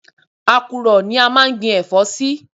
Àkùrọ̀ ni a máa ń gbi ẹ̀fọ́ sí